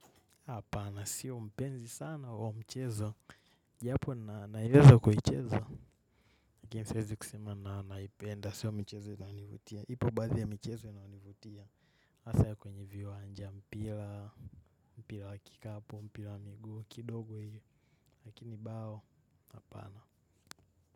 Hapana. Sio mpenzi sana wa mchezo. Japo naeleza kwa hichezo. Lakini siezi kusema na naipenda. Sio mchezo inayonivutia. Ipo baadhi ya michezo inayonivutia. Hasa ya kwenye viwanja mpila, mpila wa kikapu, mpila wa miguu, kidogo hiyo. Lakini bao. Hapana.